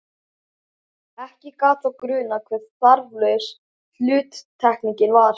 Ekki gat þá grunað hve þarflaus hluttekningin var!